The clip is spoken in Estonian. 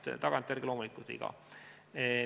Tagantjärele teame, et see oli loomulikult viga.